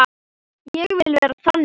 Ég vil vera þannig.